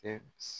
Tɛ